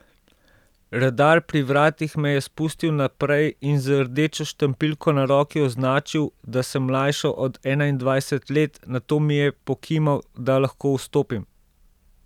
Redar pri vratih me je spustil naprej in z rdečo štampiljko na roki označil, da sem mlajša od enaindvajset let, nato mi je pokimal, da lahko vstopim.